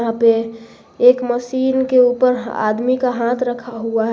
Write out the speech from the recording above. यहां पे एक मशीन के ऊपर आदमी का हाथ रखा हुआ है।